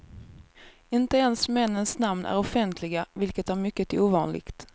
Inte ens männens namn är offentliga, vilket är mycket ovanligt.